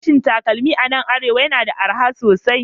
Farashin takalma a nan Arewa yana da arha sosai